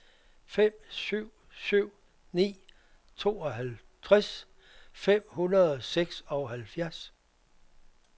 fem syv syv ni tooghalvtreds fem hundrede og seksoghalvfjerds